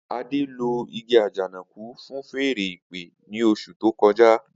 Ade lo igi ajanaku fun fèèrè ìpè ni osu to koja.